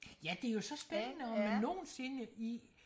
ja det er jo så spændende om man nogensinde i